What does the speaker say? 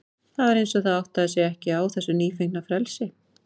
Það var eins og það áttaði sig ekki á þessu nýfengna frelsi.